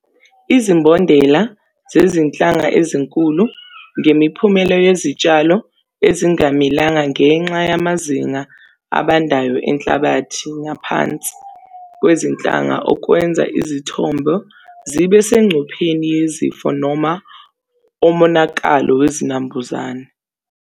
Izimbondela zezinhlanga ezinkulu ngemiphumela yezitshalo ezingamilanga ngenxa yamazinga abandayo enhlabathi ngaphansi kwezinhlanga okwenza izithombo zibe sengcupheni yezifo noma omonakalo wezinambuzane.